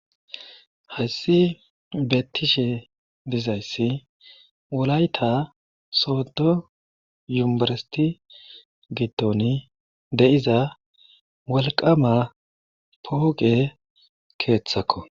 Hayssi beettishe dizayssi wolayta soodo yumbbiristte giddoni de7iza wolqaama pooqe keethako.